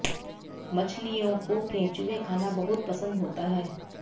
मछलियों को केंचुए खाना बहुत पसंद होता है